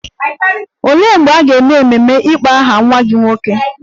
Olee mgbe a ga-eme ememe ịkpọ aha nwa gị nwoke?